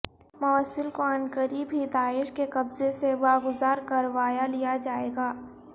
موصل کو عنقریب ہی داعش کے قبضے سے واگزار کروا لیا جائے گا